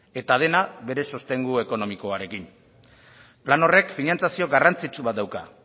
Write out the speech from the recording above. eta dena bere sostengu ekonomikoarekin plan horrek finantzazio garrantzitsu bat dauka